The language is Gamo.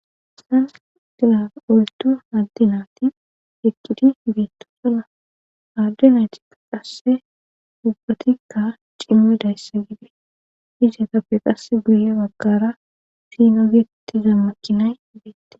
Haysan dila oltu addi naati ekkidi beetto sona addinaytikka qasse dubbatikka cimme daysse gidi isetappe qasse guye baggara finogyekti zammakinay beette